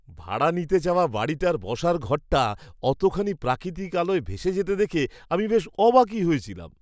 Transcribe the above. ভাড়া নিতে চাওয়া বাড়িটার বসার ঘরটা অতখানি প্রাকৃতিক আলোয় ভেসে যেতে দেখে আমি বেশ অবাকই হয়েছিলাম!